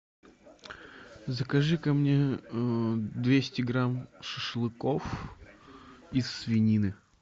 закажи ка мне двести грамм шашлыков из свинины